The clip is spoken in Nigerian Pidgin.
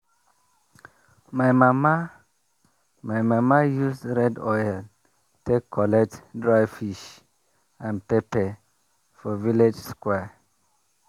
my mama my mama use red oil take collect dry fish and pepper for village square.